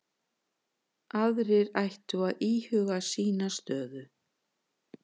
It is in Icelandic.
Aðrir ættu að íhuga sína stöðu